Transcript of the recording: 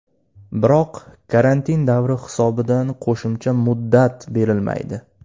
Biroq karantin davri hisobidan qo‘shimcha muddat berilmaydi.